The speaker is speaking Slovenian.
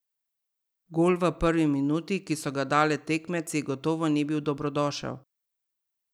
Gol v prvi minuti, ki so ga dali tekmeci, gotovo ni bil dobrodošel.